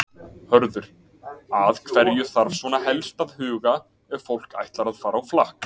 Hörður, að hverju þarf svona helst að huga ef fólk ætlar að fara á flakk?